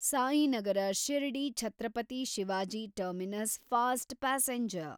Sainagar Shirdi Chhatrapati Shivaji terminus fast passenger